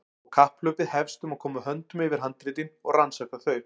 Og kapphlaupið hefst um að koma höndum yfir handritin og rannsaka þau.